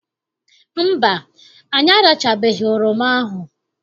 Mba, anyị arachachabeghị oroma ahụ.